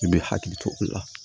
I bɛ hakili to o la